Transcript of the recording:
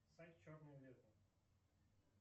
сайт черное лето